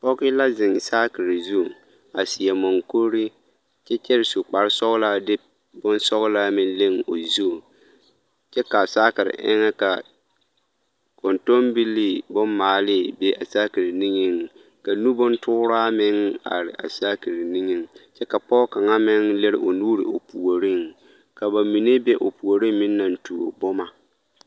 Pɔge la zeŋ saakeri zu a seɛ maŋkuri kyɛ kyɛre su kparesɔglaa de bonsɔglaa meŋ leŋ o zu kyɛ ka a saakeri eŋɛ ka kɔntɔnbilii bommaale be a saakeri nigeŋ ka nu bontooraa meŋ are a saakeri nigeŋ kyɛ ka pɔge kaŋa meŋ lere o nuure o puoriŋ ka ba mine be o puoriŋ meŋ naŋ tuo boma.